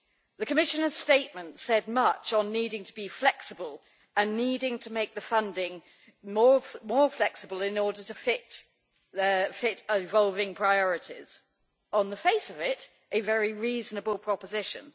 The Commissioner's statement said much on needing to be flexible and needing to make the funding more flexible in order to fit evolving priorities, on the face of it a very reasonable proposition.